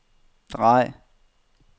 drej